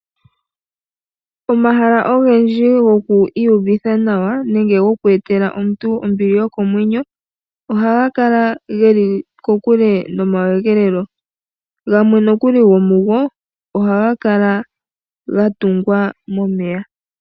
Omahala ogendji gokwiiyuvitha nawa nenge gokweetela omuntu ombili yokomwenyo, ohagakala geli kokule nomakudhilo, gamwe gomugo ohagakala gatungwa momeya.